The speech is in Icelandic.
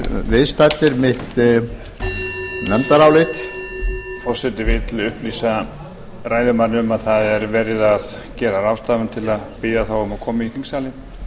viðstaddir mitt nefndarálit forseti vill upplýsa ræðumann um að það er verið að gera ráðstafanir til að biðja þá um að koma í þingsalinn